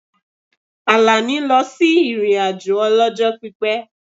Àlàní lọ sí ìrìn-àjò ọlọ́jọ́ pípẹ́